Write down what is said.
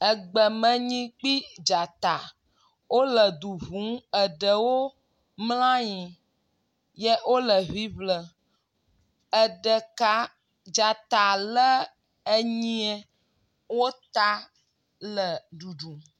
Egbeme nyi kple dzata wo le du ƒum eɖewo mla anyi ye wo le ŋiŋlem. Eɖeka dzta le enyia wo ta le ɖuɖum.